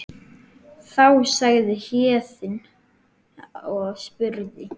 Þá sagði Héðinn og spurði